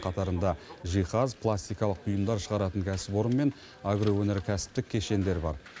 қатарында жиһаз пластикалық бұйымдар шығаратын кәсіпорын мен агроөнеркәсіптік кешендер бар